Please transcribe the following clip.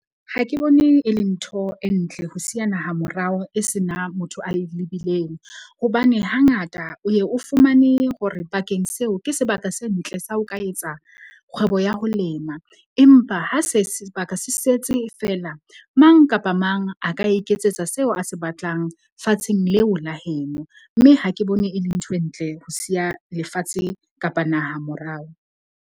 Ha ke bone e le ntho e ntle ho siya naha morao e senang motho a e lebileng, hobane hangata o ye o fumane hore bakeng seo ke sebaka se ntle sa ho ka etsa kgwebo ya ho lema, empa ha se sebaka se setse feela, mang kapa mang a ka iketsetsa seo a se batlang fatsheng leo la heno, mme ha ke bone e le ntho e ntle ho siya lefatshe kapa naha morao.